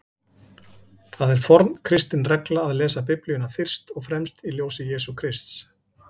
Það er forn kristin regla að lesa Biblíuna fyrst og fremst í ljósi Jesú Krists.